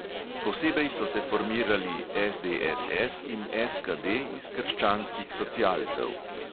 Posebej so se formirali SDSS in SKD iz krščanskih socialcev.